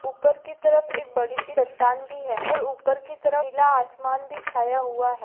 ऊपर की तरफ एक बड़ी सी चट्टान भी है और ऊपर की तरफ नीला आसमान भी छाया हुआ है।